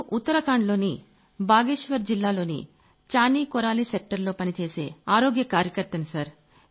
నేను ఉత్తరాఖండ్ లోని బాగేశ్వర్ జిల్లాలోని చానీ కోరాలీ సెక్టర్ లో పనిచేసే ఆరోగ్య కార్యకర్తని సర్